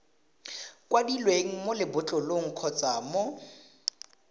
kwadilweng mo lebotlolong kgotsa mo